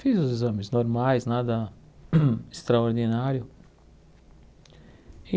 Fiz os exames normais, nada extraordinário.